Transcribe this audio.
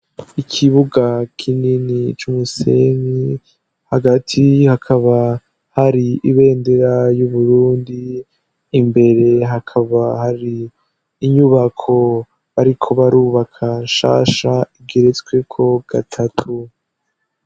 Ikibuga kinini c'umusenyi. Hagati hakaba hari ibendera y'uburundi, imbere hakaba hari inyubako bariko barubaka nshasha igeretsweko gatatu.